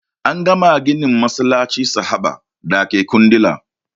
An kammala ginin masallacin sahaba dake kundila